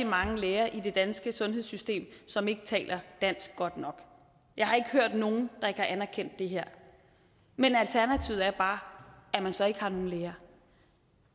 mange læger i det danske sundhedssystem som ikke taler dansk godt nok jeg har ikke hørt nogen der ikke har anerkendt det her men alternativet er bare at man så ikke har nogen læger